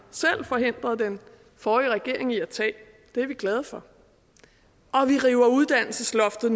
selv forhindrede den forrige regering i at tage det er vi glade for vi river uddannelsesloftet